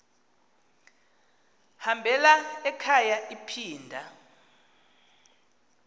hambela ekhaya iphinda